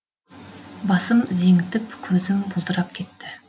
басым зеңітіп көзім бұлдырап кетті